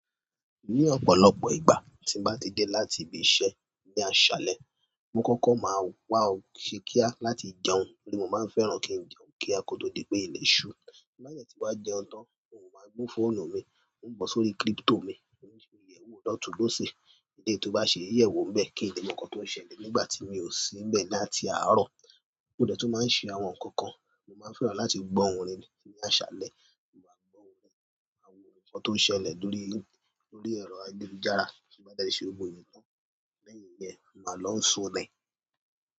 Ní ọ̀pọ̀lọpọ̀ ìgbà tí mo bá ti dé láti ibi iṣẹ́ ní àṣálẹ́, mo kọ́kọ́ máa ń wá ọ̀ ṣí kíá láti jẹun nítorí mo máa ń fẹ́ràn kí n jẹun kíá kó tó di pé ilẹ̀ ṣú. Tí n bá dẹ̀ tí wá jẹun tán, òun máa gbọ́ fóònù mi, ó ń bọ̀ sórí kírípítò mi, ó ń ṣe ìyẹ̀wò ọ̀dọ̀ tó bó ṣe. Eléyìí tó bá ṣe ìyẹ̀wò ń bẹ́ẹ̀ kí n lè mọ̀ nkán tó ń ṣẹlẹ̀ nígbà tí mi ò sí ńbẹ̀ láti àárọ̀. Mo dẹ̀ tún máa ń ṣe àwọn nǹkan kan. Mo máa ń fẹ́ràn láti gbọ́ orin ní àṣálẹ́. Mo máa gbọ́ ohùn rẹ̀, àwọn nǹkan tó ń ṣẹlẹ̀ lórí, lórí ẹ̀rọ ayélujára kí ó bá jáde sí orí ibo ènìyàn tán. Lẹ́yìn yẹn, màá lọ sùn ni.